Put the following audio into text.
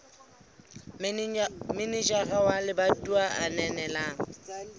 manejara wa lebatowa a ananela